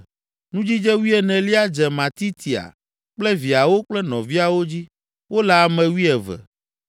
Nudzidze wuienelia dze Matitia kple viawo kple nɔviawo dzi; wole ame wuieve.